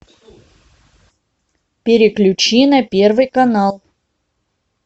переключи на первый канал